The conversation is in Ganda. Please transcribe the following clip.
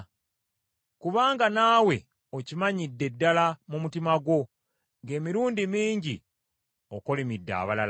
kubanga naawe okimanyidde ddala mu mutima gwo, ng’emirundi mingi okolimidde abalala.